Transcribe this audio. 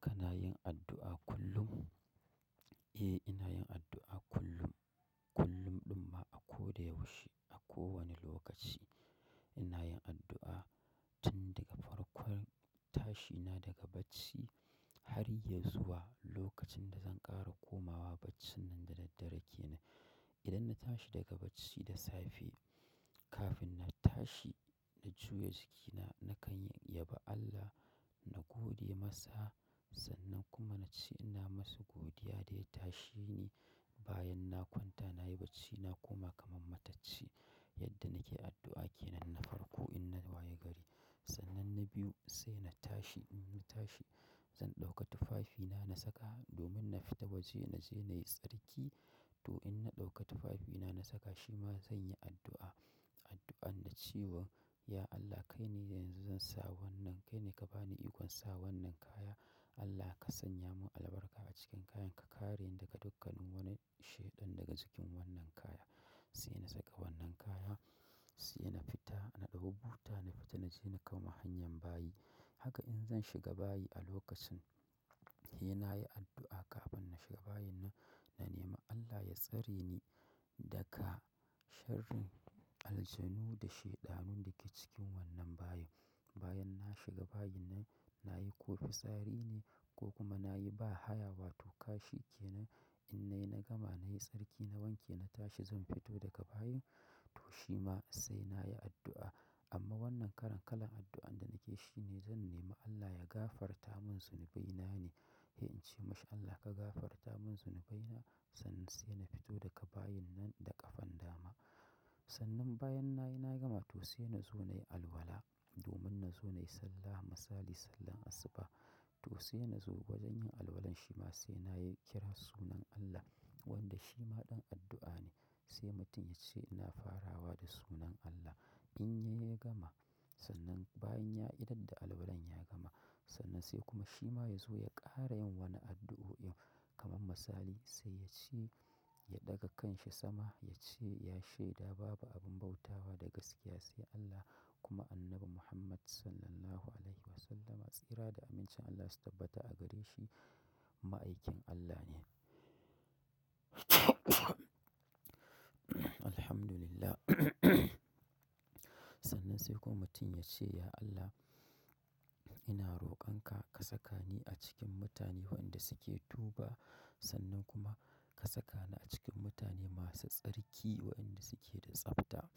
Kana yin addu'a kullum? Eh, ina yin addu'a kullum. Kullum ɗumma a ko da yaushe, a kowane lokaci ina yin addu'a. Tun daga farkon tashi na daga bacci har yazu wa lokacin da zan ƙara komawa bacci nan da daddare kenan. Idan na tashi daga bacci da safe, kafin na tashi in juya jikina nakan yabi Allah na gode masa. Sannan kuma na ce ina masa godiya da ya tasheni. Bayan na kwanta nayi bacci na koma kamar matacci yadda nake addu'a kenan na farko in na waye gari. Sannan na biyu sai na tashi, in na tashi zan ɗauka tufafina na saka domin na fita waje na je na yi tsarki. To in na ɗauka tufafina na saka shi ma zan yi addu'a, addu'an da cewa; "Ya Allah kai ne yanzu zan sa wannan, kai ne ka bani ikon sa wannan kaya. Allah ka sanya mun albarka a cikin kayan ka kareni daga dukkan wani shaiɗan daga cikin wannan kaya." Sai na saka wannan kaya, sai na fita na ɗauko buta na fita na je na kama hanyar bayi. Haka in zan shiga bayi a lokacin, eh na yi addu'a kafin na shiga bayin na, na nemi Allah ya tsare ni daga sharrin aljanu da shaidanun da ke cikin wannan bayin. Bayan na shiga bayin na, nayi ko tsari ne ko kuma nayi ba haya wato kashi kenan in na yi na gama nayi tsarki na wanke na tashi zan fito daga bayin to shi ma sai na yi addu'a. Amma wannan karan kalan addu'an da nake shi ne zan nema Allah ya gafarta mun zunubaina ne. Eh in ce; "MashaAllah ka gafarta mun zunubaina sannan sai na fito daga bayin nan da ƙafan dama." Sannan bayan na yi na gama to sai na zo nayi alwala domin na zo nayi sallah masali, sallar asuba. To sai na zo gwajin yin alwalan shi ma sai na yi kira sunan Allah wanda shi ma ɗan addu'a ne. Sai mutum ya ce ina farawa da sunan Allah in ya yi ya gama. Sannan bayan ya idar da alwalan ya gama, sannan sai kuma shi ma ya zo ya ƙara yin wani addu'o'in kamar masali sai ya ce ya ɗaga kan shi sama ya ce; "Ya shaida babu abun bautawa da gaskiya sai Allah kuma Annabi Muhammad Sallallahu Alaihi Wasallama tsira da amincin Allah su tabbata a gare shi, ma'aikin Allah ne." Alhamdulillah. Sannan sai kuma mutum ya ce; "Ya Allah ina roƙon ka, ka saka ni a cikin mutane waɗanda suke tuba sannan kuma ka saka ni a cikin mutane masu tsarki waɗanda suke da tsabta."